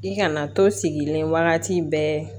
I kana to sigilen wagati bɛɛ